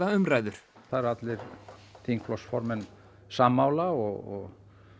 umræður það eru allir þingflokksformenn sammála og